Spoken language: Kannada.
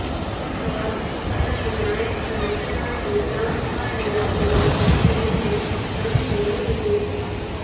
ಮೂರೂ ಆವೃತ್ತಿಗಳಲ್ಲಿ ನಾಯಕನಟನಾಗಿ ಟಾಮ್ ಹಾರ್ಡಿ ಅವರೇ ಇರುತ್ತಾರೆ ಎಂದು ಸಂಸ್ಥೆ ಹೇಳಿದೆ